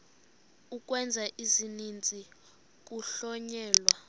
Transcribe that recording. ukwenza isininzi kuhlonyelwa